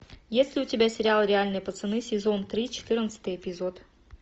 есть ли у тебя сериал реальные пацаны сезон три четырнадцатый эпизод